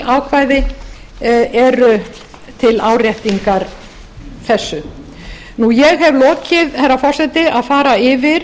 ákvæði eru til áréttingar þessu ég hef lokið herra forseti að fara yfir